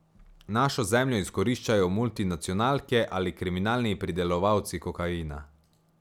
Našo zemljo izkoriščajo multinacionalke ali kriminalni pridelovalci kokaina.